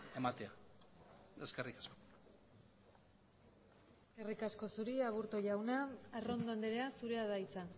ematea eskerrik asko eskerrik asko zuri aburto jauna arrondo andrea zurea da hitza